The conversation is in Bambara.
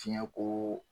Fiɲɛkoo